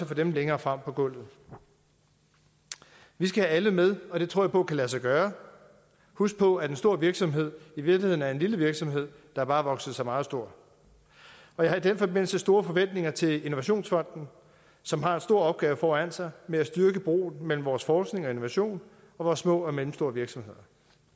få dem længere frem på gulvet vi skal have alle med og det tror jeg på kan lade sig gøre husk på at en stor virksomhed i virkeligheden er en lille virksomhed der bare har vokset sig meget stor og jeg har i den forbindelse store forventninger til innovationsfonden som har en stor opgave foran sig med at styrke broen mellem vores forskning og innovation og vores små og mellemstore virksomheder